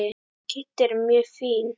Kiddi er mjög fínn.